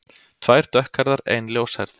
Tvær dökkhærðar, ein ljóshærð.